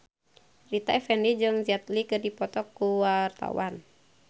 Rita Effendy jeung Jet Li keur dipoto ku wartawan